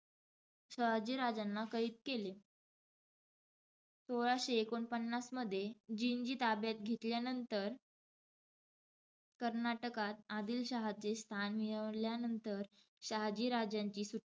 शहाजी राजांना कैद केले. सोळाशे एकोणपन्नास मध्ये, जिंजी ताब्यात घेतल्यानंतर कर्नाटकात आदिलशहाचे स्थान मिळवल्यानंतर शहाजी राजांची सुटका,